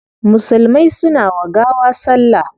Musulmai suna wa gawa salla